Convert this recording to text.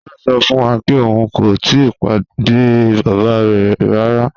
John sọ fun wa pe oun ko tii pade baba rẹ rara.